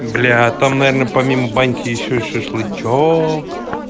бля там наверное помимо баньки ещё шашлычок